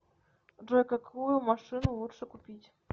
джой какую машину лучше купить